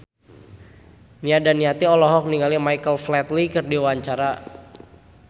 Nia Daniati olohok ningali Michael Flatley keur diwawancara